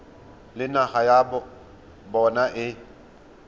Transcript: le naga ya bona e